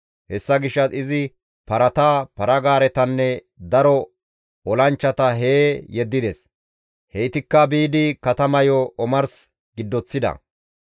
Hessa gishshas izi parata, para-gaaretanne daro olanchchata hee yeddides. Heytikka biidi katamayo omars giddoththida.